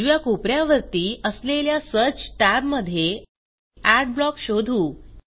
उजव्या कोप यातवरती असलेल्या सर्च tab मधे एडब्लॉक शोधू